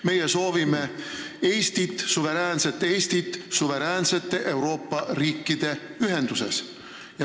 Meie soovime Eestit – suveräänset Eestit suveräänsete Euroopa riikide ühenduses.